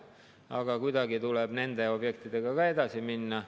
Aga kuidagi tuleb nende objektidega edasi minna.